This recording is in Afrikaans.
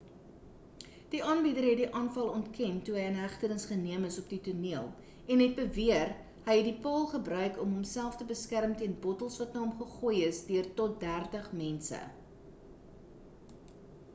die aanbieder het die aanval ontken toe hy in hegtenis geneem is op die toneel en het beweer hy het die paal gebruik om hom self te beskerm teen bottels wat na hom gegooi is deur tot dertig mense